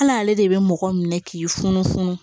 Hal'ale de bɛ mɔgɔ minɛ k'i funufunu